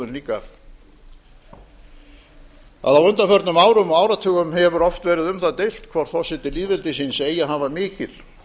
líka að á undanförnum árum og áratugum hefur oft verið um það deilt hvort forseti lýðveldisins eigi að hafa mikil